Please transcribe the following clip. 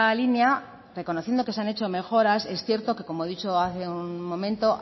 línea reconociendo que se han hecho mejoras es cierto que como he dicho hace un momento